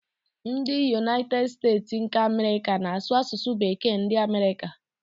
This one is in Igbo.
Ndị Yunaited Steeti nke Amerịka na-asụ asụsụ bekee ndi amerika.